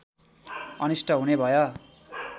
अनिष्ट हुने भय